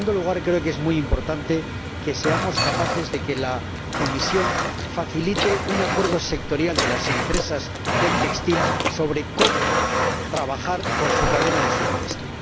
En segundo lugar, creo que es muy importante que seamos capaces de que la Comisión facilite un acuerdo sectorial de las empresas del textil sobre cómo trabajar con su cadena de suministro.